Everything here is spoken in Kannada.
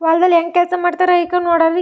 ಹೊಲದಲ್ಲಿ ಹೆಂಗೆ ಕೆಲ್ಸ್ ಮಾಡತ್ತರೆ ಐಕ್ ನೋಡರಿ.